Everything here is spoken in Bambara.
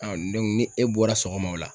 ni e bɔra sɔgɔma o la.